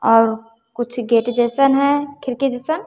और कुछ गेट जैसन है खिड़की जैसन--